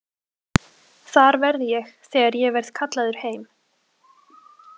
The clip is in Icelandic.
Þar verð ég þegar ég verð kallaður heim.